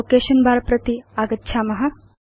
location बर प्रति आगच्छाम